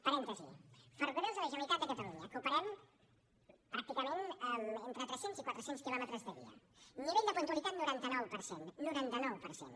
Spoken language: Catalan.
parèntesi ferrocarrils de la generalitat de catalunya que operem pràcticament entre tres cents i quatre cents quilòmetres de via nivell de puntualitat noranta nou per cent noranta nou per cent